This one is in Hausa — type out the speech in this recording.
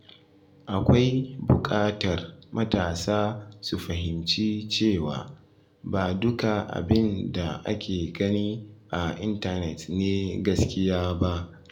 Akwai bukatar matasa su fahimci cewa ba duka abin da ake gani a intanet ne gaskiya ba.